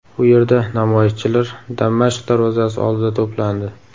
U yerda namoyishchilar Damashq darvozasi oldida to‘plandi.